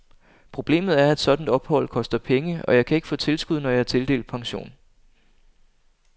Problemet er, at et sådant ophold koster penge, og jeg kan ikke få tilskud, når jeg er tildelt pension.